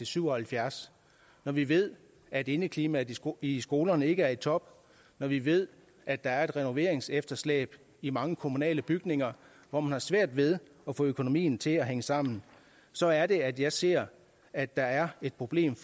syv og halvfjerds når vi ved at indeklimaet i skolerne ikke er i top og når vi ved at der er et renoveringsefterslæb i mange kommunale bygninger hvor man har svært ved at få økonomien til at hænge sammen så er det at jeg ser at der er et problem